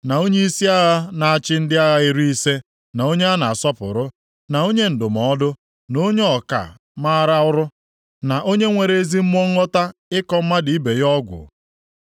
na onyeisi agha na-achị ndị agha iri ise, na onye a na-asọpụrụ, na onye ndụmọdụ, na onye ọka maara ọrụ, na onye nwere ezi mmụọ nghọta ịkọ mmadụ ibe ya ọgwụ.